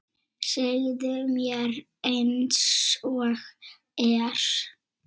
Segðu mér einsog er.